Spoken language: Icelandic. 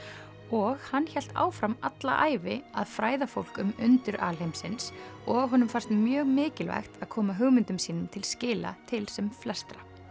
og hann hélt áfram alla ævi að fræða fólk um undur alheimsins og honum fannst mjög mikilvægt að koma hugmyndum sínum til skila til sem flestra